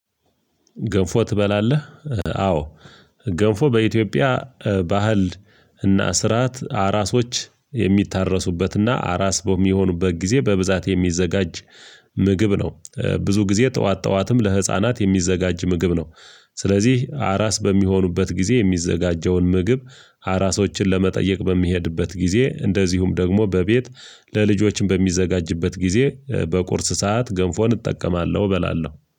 ገንፎ ትበላለህ? አዎ። ገንፎ በኢትዮጵያ ባህል እና ስርዓት አራሶች የሚታረሱበትና አራስ በሚሆኑበት ጊዜ በብዛት የሚዘጋጅ ምግብ ነው ብዙ ጊዜ ጠዋት ጠዋትም ለህፃናት የሚዘጋጅ ምግብ ነው። ስለዚህ አራስ በሚሆኑበት ጊዜ የሚዘጋጀውን ምግብ አራሶችን ለመጠየቅ በሚሄድበት ጊዜ እንደዚሁም ደግሞ በቤት ለልጆችም በሚዘጋጅበት ጊዜ በቁርስ ሰዓት ገንፎን እጠቀማለሁ እበላለሁ